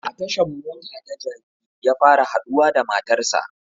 A tashan mota ta jabi ya fara haɗuwa da matar sa